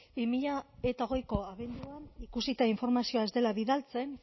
bi mila hogeiko abenduan ikusita informazioa ez dela bidaltzen